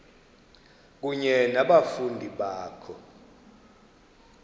kunye nabafundi bakho